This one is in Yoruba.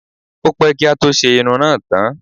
Ó pẹ́ kí á tó ṣe irun náà tán.